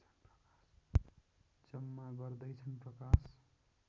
जम्मा गर्दैछन् प्रकाश